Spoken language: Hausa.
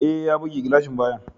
E, ya buge gilashin bayan.